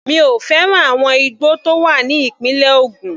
Mi ò fẹ́ràn àwọn igbó tó wà ní ìpínlẹ̀ Ògùn.